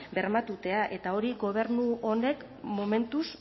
bermatzea eta hori gobernu honek momentuz